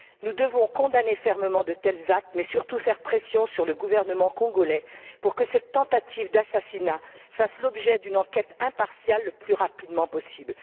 Nous devons condamner fermement de tels actes, mais surtout faire pression sur le gouvernement congolais pour que cette tentative d'assassinat fasse l'objet d'une enquête impartiale le plus rapidement possible.